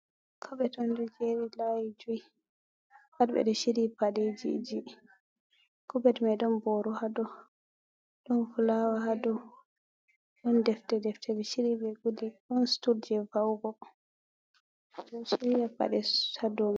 Kobet on ɗo jeri layi jui pat ɓeɗo shiriyi paɗejiji kobet mai ɗon boro hadow, ɗon fulawa hadow, ɗon defte defte be shiryi be guli, ɗon stul je va'ugoo hira paɗe hadow man.